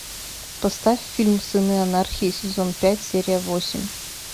поставь фильм сыны анархии сезон пять серия восемь